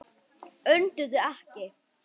Önduðu ekki.